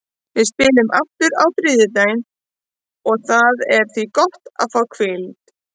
Við spilum aftur á þriðjudaginn og það er því gott að fá hvíld.